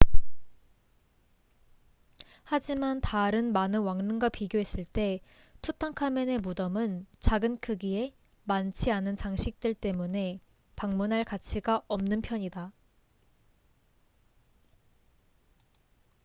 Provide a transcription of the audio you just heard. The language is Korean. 하지만 다른 많은 왕릉과 비교했을 때 투탕카멘의 무덤은 작은 크기에 많지 않은 장식들 때문에 방문할 가치가 없는 편이다